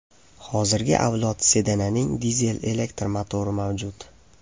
Hozirgi avlod sedanining dizel-elektr motori mavjud.